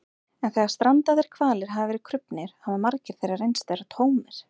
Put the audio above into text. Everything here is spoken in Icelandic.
en þegar strandaðir hvalir hafa verið krufnir hafa magar þeirra reynst vera tómir